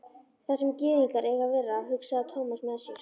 Þar sem gyðingar eiga að vera, hugsaði Thomas með sér.